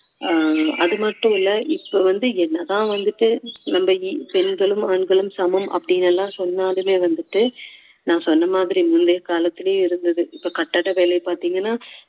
ஆஹ் அது மட்டும் இல்லை இப்போ வந்து என்னதான் வந்துட்டு நம்ம பெண்களும் ஆண்களும் சமம் அப்படின்னு எல்லாம் சொன்னாலுமே வந்துட்டு நான் சொன்ன மாதிரி முந்தைய காலத்திலயும் இருந்தது இப்போ கட்டட வேலை பாத்தீங்கன்னா